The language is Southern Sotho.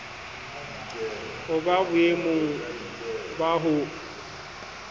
ho ba boemong ba ho